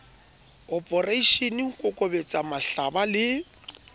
oporeishene ho kokobetsa mahlaba le